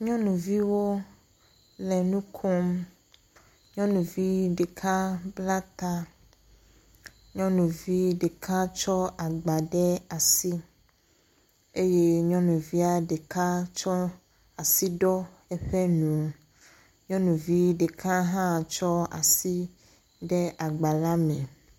Nyɔnuviwo le nu kom. Nyɔnuvi ɖeka bla ta. Nyɔnuvi ɖeka tsɔ agba ɖe asi eye nyɔnuvia ɖeka tsɔ asi ɖɔ eƒe nu. Nyɔnuvi ɖeka hã tsɔ asi de agba la me.